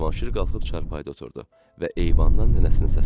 Cavanşir qalxıb çarpayda oturdu və eyvandan nənəsini səslədi.